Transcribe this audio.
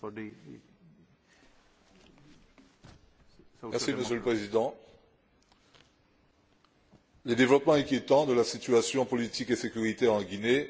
Monsieur le Président, les développements inquiétants de la situation politique et de la sécurité en Guinée demandent une réaction ferme de l'Union européenne.